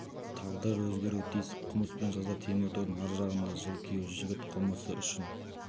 тағдыры өзгеруі тиіс қылмыс пен жаза темір тордың ар жағында жыл күйеу жігіт қылмысы үшін